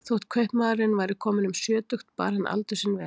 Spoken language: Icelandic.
Þótt kaupmaðurinn væri kominn um sjötugt bar hann aldur sinn vel.